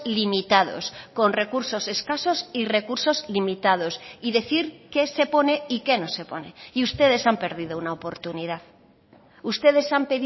limitados con recursos escasos y recursos limitados y decir qué se pone y qué no se pone y ustedes han perdido una oportunidad ustedes han